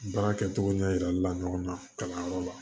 Baara kɛcogo ɲɛ yira la ɲɔgɔn na kalanyɔrɔ la